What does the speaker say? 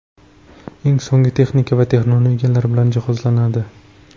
Eng so‘nggi texnika va texnologiyalar bilan jihozlanadi.